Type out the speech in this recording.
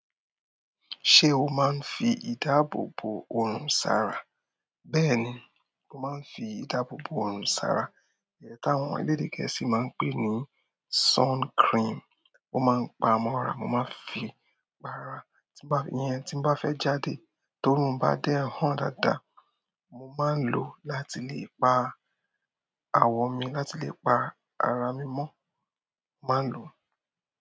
Se o ma nfi ìdáàbòbò wo sara? Bẹ́ẹ̀ni mo ma n fi ìdáàbòbò wo sara ẹ̀yi tí àwọn elédè gẹ̀ẹ́sì máa ń pè ní sun cream. Ó máa ń paa mọ́ra, mo máa ń fi pa ara. Tí bá we tí bá fẹ́ jáde toorún bá dẹ́ hán dáadáa, mo máa ń lò láti lè pa aawọ mi, láti lè pa ara mi mọ́, mo máa ń lo.